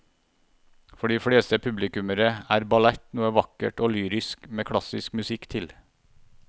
For de fleste publikummere er ballett noe vakkert og lyrisk med klassisk musikk til.